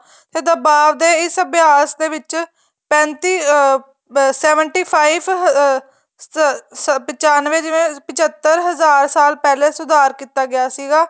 ਤੇ ਬਾਅਦ ਦੇ ਇਸ ਅਭਿਆਸ ਦੇ ਵਿੱਚ ਪੈਤੀ ਅਹ seventy five ਅਹ ਪਚਾਨਵੇਂ ਜਿਵੇਂ ਪ੍ਚੱਤਰ ਹਜ਼ਾਰ ਸਾਲ ਪਹਿਲੇ ਸੁਧਾਰ ਕੀਤਾ ਗਿਆ ਸੀਗਾ